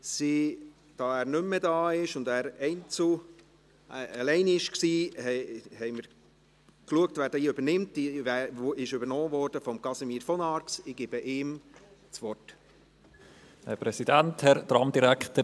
Da er nicht mehr im Grossen Rat ist und alleiniger Motionär war, hat Casimir von Arx die Rolle des Sprechenden übernommen.